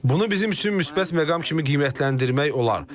Bunu bizim üçün müsbət məqam kimi qiymətləndirmək olar.